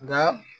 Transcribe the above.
Nka